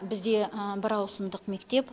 бізде бір ауысымдық мектеп